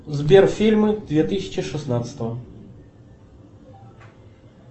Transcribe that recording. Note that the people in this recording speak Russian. сбер фильмы две тысячи шестнадцатого